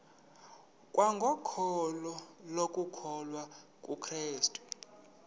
kwangokholo lokukholwa kukrestu